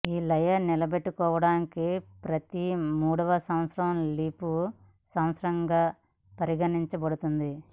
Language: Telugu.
ఈ లయ నిలబెట్టుకోవడానికి ప్రతి మూడవ సంవత్సరం లీపు సంవత్సరంగా పరిగణించబడుతుంది